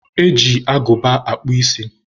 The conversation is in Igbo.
E ji agụba akpụ isi.